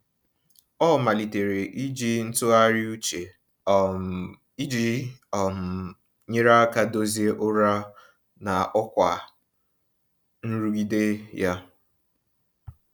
Ọ malitere iji ntụgharị uche um iji um nyere aka dozie ụra na ọkwa nrụgide ya.